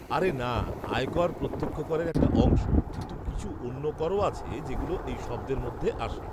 আরে না, আয় কর প্রত্যক্ষ করের একটা অংশ, কিন্তু কিছু অন্য করও আছে যেগুলো এই শব্দের মধ্যে আসে।